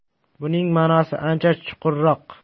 Buning ma’nosi ancha chuqurroq.